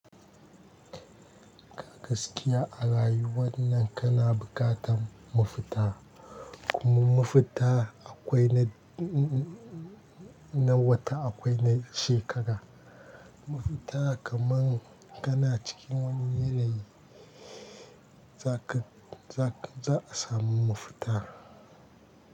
Gaskiya a rayuwannan kana buƙatan mafuta. Kuma mafuta akwai na, na wata akwai na shekara. Mafuta kaman kana cikin wani yanayi za ka, za ka, za a samu mafuta.